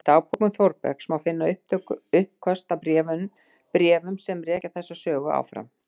Í dagbókum Þórbergs má finna uppköst að bréfum sem rekja þessa sögu áfram